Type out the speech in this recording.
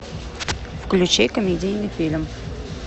включи комедийный фильм